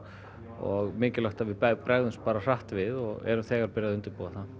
og mikilvægt að við bregðumst hratt við og erum þegar byrjuð að undirbúa það